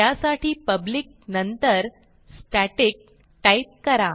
त्यासाठी पब्लिक नंतर static type करा